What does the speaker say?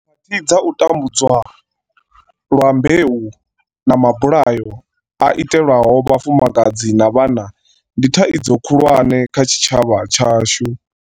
Khakhathi dza u ta mbudzwa lwa mbeu na mabulayo a itelwaho vhafumakadzi na vhana ndi thaidzo khulusa kha tshi tshavha tshashu.